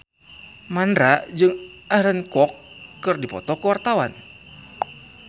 Mandra jeung Aaron Kwok keur dipoto ku wartawan